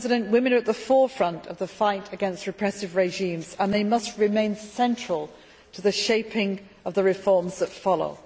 Women are at the forefront of the fight against repressive regimes and they must remain central to the shaping of the reforms that follow.